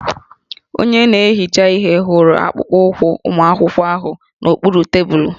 Onye na-ehicha ihe hụrụ akpụkpọụkwụ ụmụ akwụkwọ ahụ n'okpuru tebụlụ